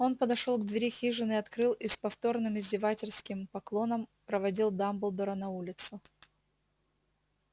он подошёл к двери хижины открыл и с повторным издевательским поклоном проводил дамблдора на улицу